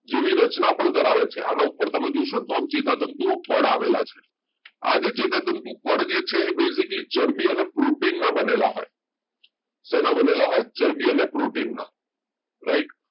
જેવી રચના પણ ધરાવે છે આમાં પણ તમે જોશો ને આમ ચેતાતંતુ પર પડ આવેલા છે આજે ચેતાતંતુ પડ જે છે એ basically ચરબી અને protein ના બનેલા હોય શેના બનેલા હોય ચરબી અને protein ના right